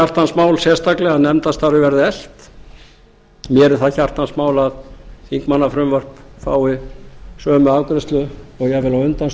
hjartans mál sérstaklega að nefndastarfið verði eflt mér er það hjartans mál að þingmannafrumvörp fái sömu afgreiðslu og jafnvel á undan